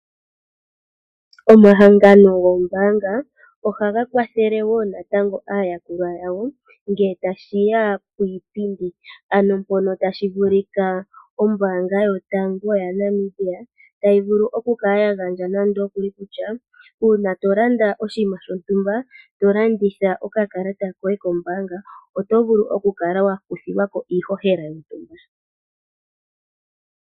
Omahangano goombaanga ohaga kwathele wo natango aayakulwa yawo ngele tashiya kiipindi, ano mpono ngele tashi vulika ombaanga yotango yopashigwana tayi vulu oku kala ya gandja nande okuli kutya uuna to landa oshinima shontumba to landitha oka kalata koye kombaanga oto vulu oku kala wa kuthilwa ko iihohela yontumba.